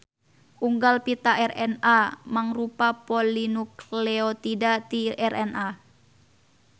Unggal pita RNA mangrupa polinukleotida ti RNA.